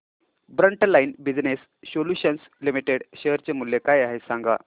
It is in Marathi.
frontline business solutions limited share चे मूल्य काय आहे हे सांगा